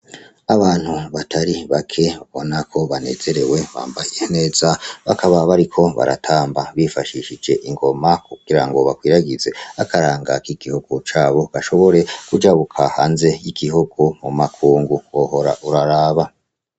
Abantu batari bake babonako banezerewe bambaye neza bakaba bariko baratamba bifashishije ingoma kukira ngo bakwiragize akarangaka k’igihugu cabo gashobore kuja buka hanze y'igihugu mu makungu kwohora uraraba.